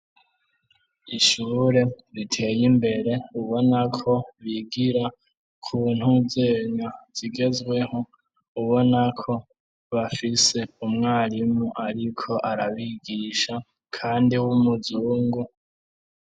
Ishure riteye imbere ubonako bigira kuntuzenya zigezweho ubonako bafise umwarimu, ariko arabigisha, kandi w' umuzungu.